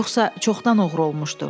Yoxsa çoxdan oğru olmuşdu.